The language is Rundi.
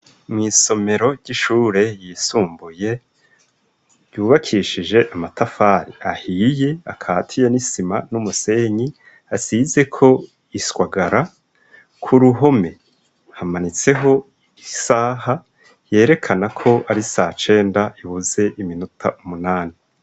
Mw'isomero ry'ishure yisumbuye yubakishije amatafari ahiye akatiye n'isima n'umusenyi asizeko ishwagara ku ruhome hamanitseho isaha yerekana ko ari sacenda ibuze iminota umunani.